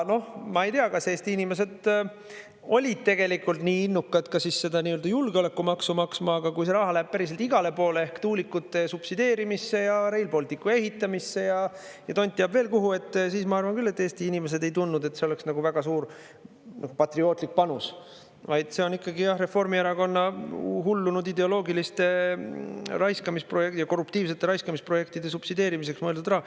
Ma ei tea, kas Eesti inimesed olid tegelikult nii innukad ka seda nii-öelda julgeolekumaksu maksma, aga kui see raha läheb päriselt igale poole ehk tuulikute subsideerimisse ja Rail Balticu ehitamisse ja tont teab veel kuhu, siis ma arvan küll, et Eesti inimesed ei tundnud, et see oleks väga suur patriootlik panus, vaid see on ikkagi Reformierakonna hullunud ideoloogiliste ja korruptiivsete raiskamisprojektide subsideerimiseks mõeldud raha.